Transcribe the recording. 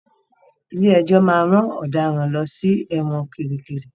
Ilé-ẹjọ máa ran ọ̀daràn lọ sí ẹ̀wọn kiríkirì.